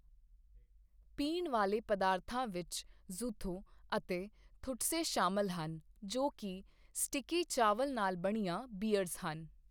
ਪੀਣ ਵਾਲੇ ਪਦਾਰਥਾਂ ਵਿੱਚ ਜ਼ੁਥੋ ਅਤੇ ਥੁਟਸੇ ਸ਼ਾਮਲ ਹਨ, ਜੋ ਕਿ ਸਟਿੱਕੀ ਚਾਵਲ ਨਾਲ ਬਣੀਆਂ ਬੀਅਰਜ਼ ਹਨ।